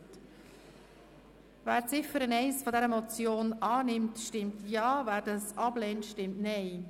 Wer die Ziffer 1 dieser Motion annehmen will, stimmt Ja, wer diese ablehnt, stimmt Nein.